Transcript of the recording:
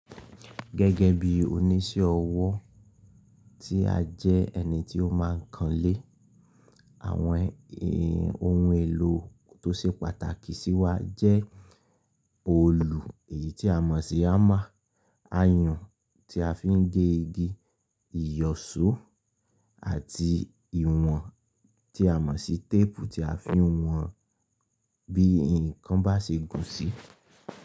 Gẹ́gẹ́ bí oniṣẹ́ ọwọ́ tí a jẹ́ ẹni tí ó máa ń kanlé, àwọn ohun èlò tó ṣe pàtàkì sí wa jẹ́ òòlù èyí tí a mọ̀ sí hammer, ayùn tí a fi ń gé igi, ìyọ̀ṣó àti ìwọ̀n tí a mọ̀ sí téèpù tí a fi ń wọn bí ǹkan bá ṣe gùn sí.